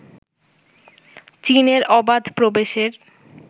চীনের অবাধ প্রবেশের